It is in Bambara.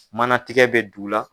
Manatigɛ bɛ du la.